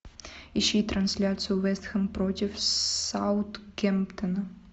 ищи трансляцию вест хэм против саутгемптона